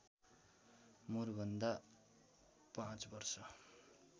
मुरभन्दा ५ वर्ष